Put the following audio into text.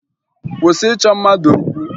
Kwụsị ịchọ mmadụ okwu!